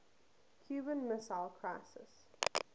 cuban missile crisis